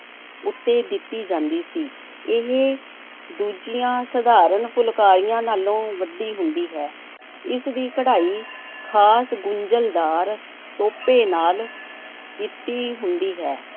ਉੱਤੇ ਦਿੱਤੀ ਜਾਂਦੀ ਸੀ, ਇਹ ਦੂਜੀਆਂ ਸਧਾਰਨ ਫੁਲਕਾਰੀਆਂ ਨਾਲੋਂ ਵੱਡੀ ਹੁੰਦੀ ਹੈ। ਇਸ ਦੀ ਕਢਾਈ ਖ਼ਾਸ ਗੁੰਝਲਦਾਰ ਤੋਪੇ ਨਾਲ ਕੀਤੀ ਹੁੰਦੀ ਹੈ।